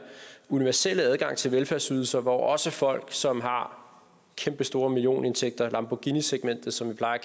universelle adgang til velfærdsydelser hvor også folk som har kæmpestore millionindtægter lamborghinisegmentet som vi plejer